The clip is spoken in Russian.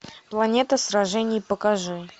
планета сражений покажи